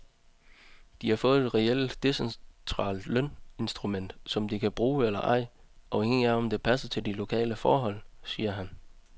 De har fået et reelt decentralt løninstrument, som de kan bruge eller ej, afhængig af om det passer til de lokale forhold, siger han.